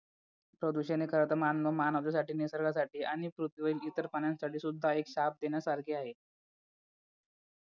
प्रदूषण हे खरंतर मानव मानवतेसाठी निसर्गासाठी आणि पृथ्वीवरील इतर प्राण्यांसाठी सुद्धा एक श्राप देण्यासारखे आहे